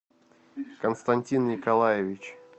константин николаевич